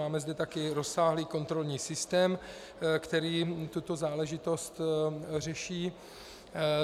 Máme zde taky rozsáhlý kontrolní systém, který tuto záležitostí řeší.